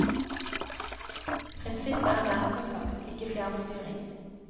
Prinsippet er nærkontakt, ikke fjernstyring.